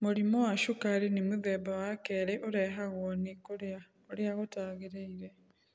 Mũrimũ wa sukari nĩ mũthemba wa kerĩ ũrehagwo nĩ kũrĩa ũrĩa gũtagĩrĩire